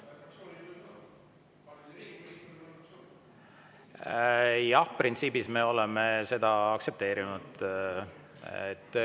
Jah, printsiibis me oleme seda aktsepteerinud.